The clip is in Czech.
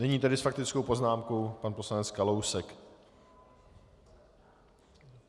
Nyní tedy s faktickou poznámkou pan poslanec Kalousek.